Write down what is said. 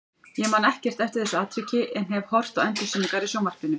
Ég man ekkert eftir þessu atviki en hef horft á endursýningar í sjónvarpinu.